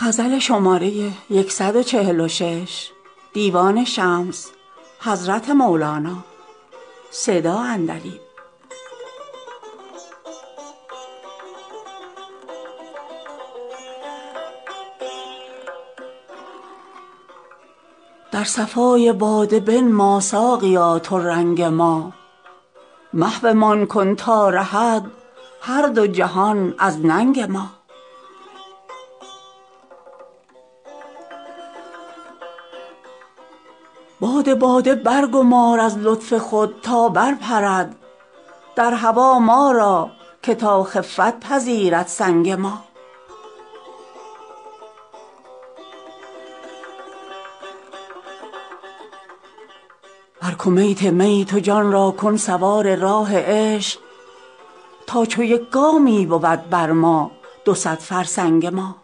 در صفای باده بنما ساقیا تو رنگ ما محومان کن تا رهد هر دو جهان از ننگ ما باد باده برگمار از لطف خود تا برپرد در هوا ما را که تا خفت پذیرد سنگ ما بر کمیت می تو جان را کن سوار راه عشق تا چو یک گامی بود بر ما دو صد فرسنگ ما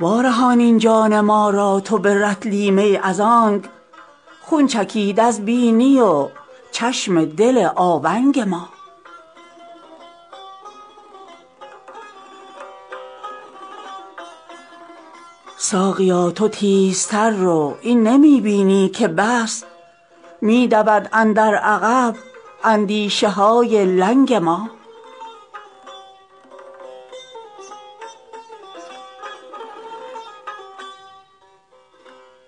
وارهان این جان ما را تو به رطلی می از آنک خون چکید از بینی و چشم دل آونگ ما ساقیا تو تیزتر رو این نمی بینی که بس می دود اندر عقب اندیشه های لنگ ما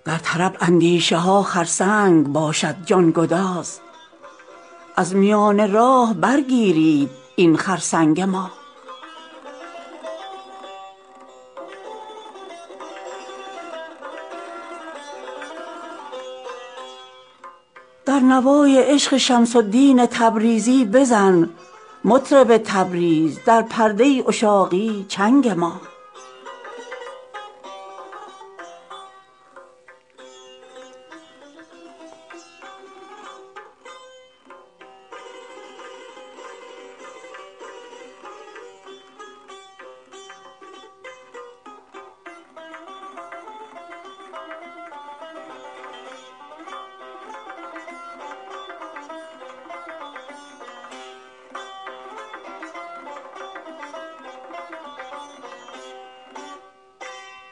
در طرب اندیشه ها خرسنگ باشد جان گداز از میان راه برگیرید این خرسنگ ما در نوای عشق شمس الدین تبریزی بزن مطرب تبریز در پرده عشاقی چنگ ما